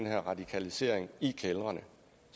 her radikalisering i kældrene